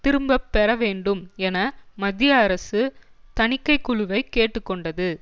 திரும்ப பெறவேண்டும் என மத்திய அரசு தணிக்கை குழுவை கேட்டு கொண்டது